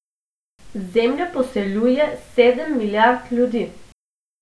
Zemljo poseljuje sedem milijard ljudi.